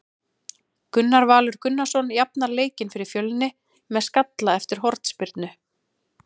Gunnar Valur Gunnarsson jafnar leikinn fyrir Fjölni með skalla eftir hornspyrnu.